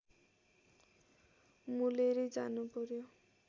मोलेरै जानुपर्‍यो